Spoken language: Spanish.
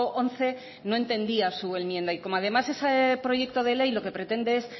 once no entendía su enmienda y como además ese proyecto de ley lo que pretende es